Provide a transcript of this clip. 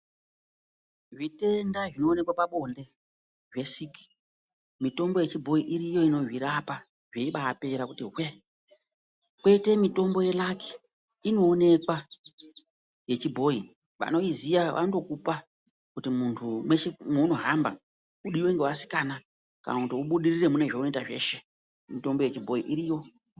Zvitenda zvinoonekwa pabonde zvesiki mitombo yechibhoyi iriyo inozvirapa zveiba apera kuti hwe, kweite mitombo yeraki inoonekwa yechibhoyi vanoiziya vanotokupa kuti muntu mweshe mwaunohamba udiwe ngevasikana kana kuti ubudirire munezvaunoita zveshe mitombo yechibhoyi iriyo.